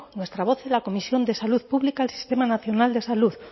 nuestra voz en la comisión de salud pública del sistema nacional de salud